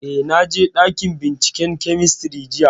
Eh, na je ɗakin binciken kemistri jiya